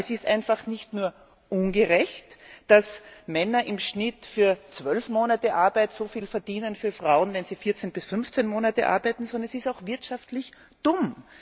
Aber es ist einfach nicht nur ungerecht, dass Männer im Schnitt für zwölf Monate Arbeit so viel verdienen wie Frauen, wenn sie 14 bis 15 Monate arbeiten, sondern es ist auch wirtschaftlich dumm.